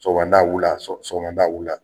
Sɔgɔmada wula sɔgɔmada wula